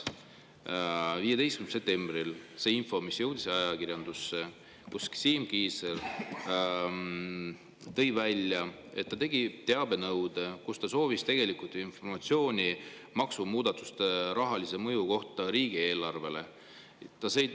15. septembril jõudis ajakirjandusse info: Siim Kiisler tõi välja, et ta tegi teabenõude, kus ta soovis informatsiooni maksumuudatuste rahalise mõju kohta riigieelarvele.